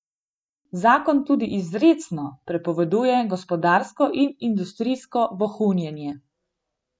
Zakon tudi izrecno prepoveduje gospodarsko in industrijsko vohunjenje.